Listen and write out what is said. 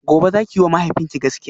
gobe zaki yiwa mahaifinki gaskiya?